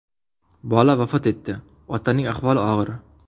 Bola vafot etdi, otaning ahvoli og‘ir.